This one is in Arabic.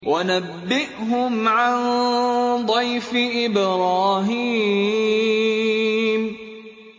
وَنَبِّئْهُمْ عَن ضَيْفِ إِبْرَاهِيمَ